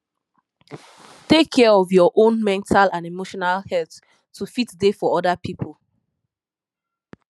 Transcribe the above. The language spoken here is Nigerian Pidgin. take care of your own mental and emotional health to fit dey for other pipo